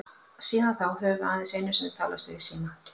Síðan þá höfum við aðeins einu sinni talast við í síma.